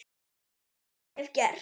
Eins og ég hef gert.